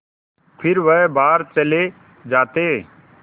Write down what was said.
फिर वह बाहर चले जाते